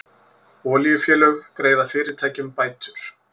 Olíufélög greiða fyrirtækjum bætur